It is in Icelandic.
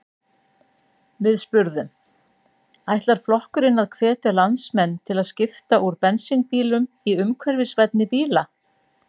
Við spurðum: Ætlar flokkurinn að hvetja landsmenn til að skipta úr bensínbílum í umhverfisvænni bíla?